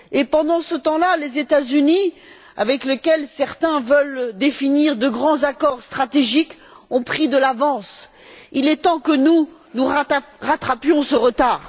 Pendant ce temps là, les États Unis, avec lesquels certains veulent définir de grands accords stratégiques, ont pris de l'avance. Il est temps que nous rattrapions ce retard.